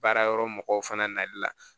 Baara yɔrɔ mɔgɔw fana nali la